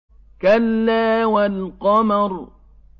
كَلَّا وَالْقَمَرِ